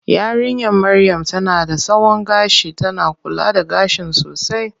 Yarinya maryam tana da tsawon gashi, tana kula da gashin sosai.